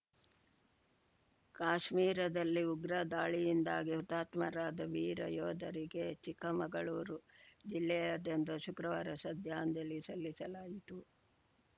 ಕಾಶ್ಮೀರದಲ್ಲಿ ಉಗ್ರ ದಾಳಿಯಿಂದಾಗಿ ಹುತಾತ್ಮರಾದ ವೀರ ಯೋಧರಿಗೆ ಚಿಕ್ಕಮಗಳೂರು ಜಿಲ್ಲೆಯಾದ್ಯಂತ ಶುಕ್ರವಾರ ಶ್ರದ್ದಾಂಜಲಿ ಸಲ್ಲಿಸಲಾಯಿತು